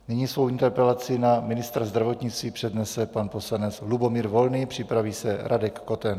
Nyní svou interpelaci na ministra zdravotnictví přednese pan poslanec Lubomír Volný, připraví se Radek Koten.